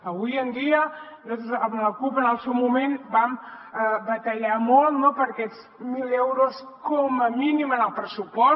avui en dia nosaltres amb la cup en el seu moment vam batallar molt no per aquests mil milions d’euros com a mínim en el pressupost